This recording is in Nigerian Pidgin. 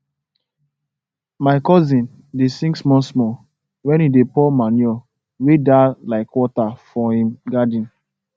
my cousin dey sing small small when e dey pour manure wey da like water for him garden